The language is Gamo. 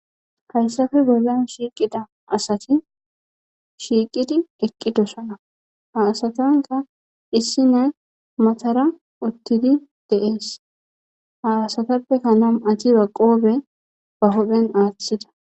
Haysappe bollan shiqqida asati shiqqidi eqqidosona ha asatappe issina maththara uththidi de'es ha asatappe na'amaththi qobee huppen aththides.